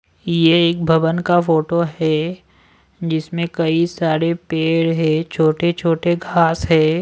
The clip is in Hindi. यह एक भवन का फोटो है जिसमें कई सारे पेड़ है छोटे-छोटे घास है।